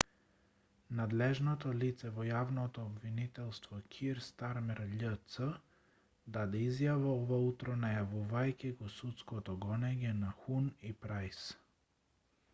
надлежното лице во јавното обвинителство кир стармер љц даде изјава ова утро најавувајќи го судското гонење на хун и прајс